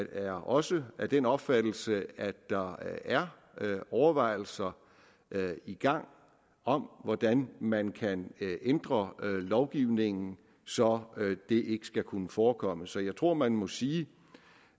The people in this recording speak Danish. er også af den opfattelse at der er overvejelser i gang om hvordan man kan ændre lovgivningen så det ikke skal kunne forekomme så jeg tror man må sige